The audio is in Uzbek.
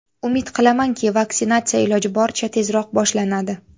Umid qilamanki, vaksinatsiya iloji boricha tezroq boshlanadi.